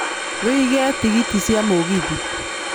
wiĩge tigiti cia mũgithi